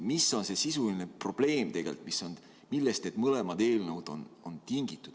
Mis on see sisuline probleem, millest need mõlemad eelnõud on tingitud?